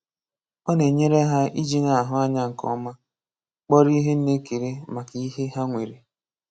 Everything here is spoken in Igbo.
Ọ n'enyere ha iji n'ahụ anya nke ọma, kpọrọ ihe na ekele maka ihe ha nwere.